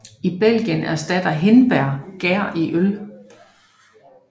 I Belgien erstatter hindbær gær i øl